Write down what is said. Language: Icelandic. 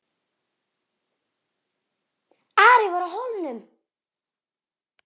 Ari var á Hólum.